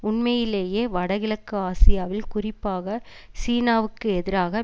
உண்மையிலேயே வட கிழக்கு ஆசியாவில் குறிப்பாக சீனாவிற்கு எதிராக